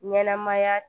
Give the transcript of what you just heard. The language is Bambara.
Ɲɛnɛmaya